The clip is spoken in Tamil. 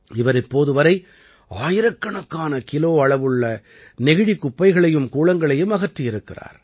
இவர் இப்போது வரை ஆயிரக்கணக்கான கிலோ அளவுள்ள நெகிழிக் குப்பைகளையும் கூளங்களையும் அகற்றியிருக்கிறார்